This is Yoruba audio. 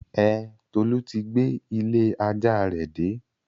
Ẹn, Tolu ti gbé ilé-ajá rẹ̀ dé.